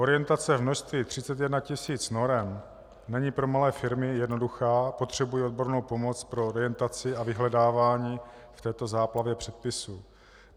Orientace v množství 31 tisíc norem není pro malé firmy jednoduchá, potřebují odbornou pomoc pro orientaci a vyhledávání v této záplavě předpisů.